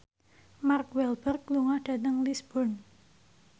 Mark Walberg lunga dhateng Lisburn